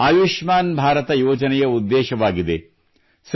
ಇದೇ ಆಯುಷ್ಮಾನ್ ಭಾರತ ಯೋಜನೆಯ ಉದ್ದೇಶವಾಗಿದೆ